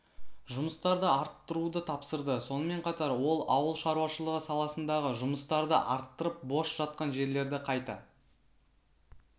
жұмыстарды арттыруды тапсырды сонымен қатар ол ауыл шаруашылығы саласындағы жұмыстарды арттырып бос жатқан жерлерді қайта